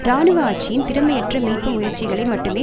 இராணுவ ஆட்சியின் திறமையற்ற மீட்பு முயற்சிகளை மட்டுமே